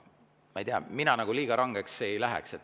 Ma ei tea, mina liiga rangeks ei läheks.